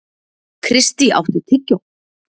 Kristý, áttu tyggjó?